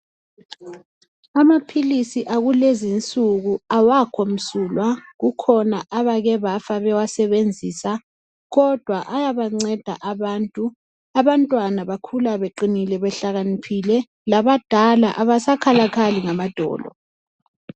Amaphilisi akulezinsuku awakho msulwa kukhona abake bafa bawasebenzisa kodwa ayabanceda abantu. Abantwana bakhula beqinile behlakaniniphile labandala abasakhalakhali ngamadolo.